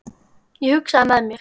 Ég hugsaði með mér